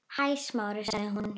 Hæ, Smári- sagði hún.